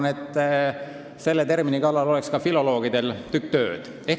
Ma arvan, et selle termini kallal oleks ka filoloogidel tükk tööd.